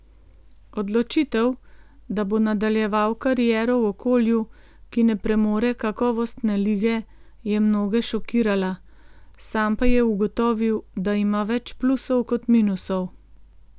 Odločitev, da bo nadaljeval kariero v okolju, ki ne premore kakovostne lige, je mnoge šokirala, sam pa je ugotovil, da ima več plusov kot minusov.